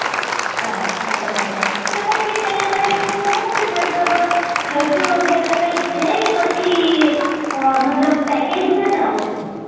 અચ્છા બરાબર તો પછી ત્યાં ઘડી નું હું છે મતલબ ખર્ચો વગેરે કઈક છે કે પછી મતલબ package માં જાવ છો